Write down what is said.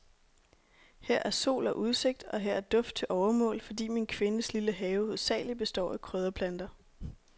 Her er sol og udsigt, og her er duft til overmål, fordi min kvindes lille have hovedsagelig består af krydderplanter.